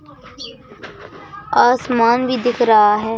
आसमान भी दिख रहा है।